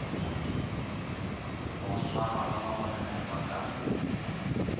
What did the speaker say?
go swarwaga bagononelwa ka mo